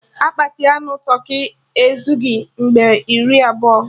Akpati anụ tụrkị ezugbi mmadụ iri abụọ